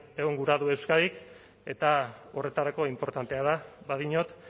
egon gura du euskadik eta horretarako inportantea da badiot